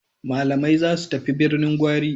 Malamai za su tafi Birnin Gwari.